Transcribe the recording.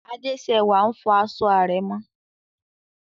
Adésẹwà n fọ aṣọ àrẹ̀mọ